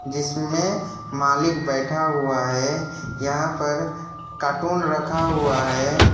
जिसमें मालिक बैठा हुआ है यहां पर कार्टून रखा हुआ है।